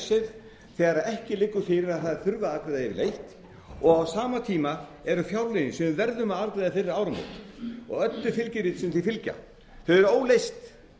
icesave þegar ekki liggur fyrir að það þurfi að afgreiðast yfirleitt og á sama tíma eru fjárlögin sem við verðum að afgreiða fyrir áramót og öll þau fylgirit sem því fylgja eru óleyst